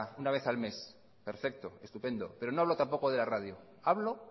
una vez al mes perfecto estupendo pero no hablo tampoco de la radio hablo